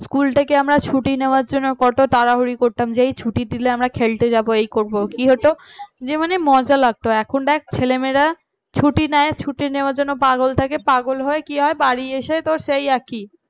school টাকে আমরা ছুটি নেবার জন্য কত তাড়াহুড়ি করতাম যেই ছুটি দিলে আমরা খেলতে যাব এই করব কি হতো? যে মানে মজা লাগতো এখন দেখ ছেলেমেয়েরা ছুটি নেই ছুটি নেওয়ার জন্য পাগল থাকে, পাগল হয়ে কি হয় বাড়ি এসেছে সেই আর কি